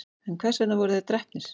en hvers vegna voru þeir drepnir